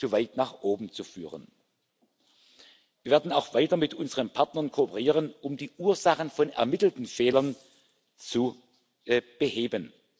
zu weit nach oben zu führen. Wir werden auch weiter mit unseren Partnern kooperieren, um die Ursachen von ermittelten Fehlern zu beheben.